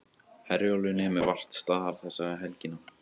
Herjólfur nemur vart staðar þessa helgina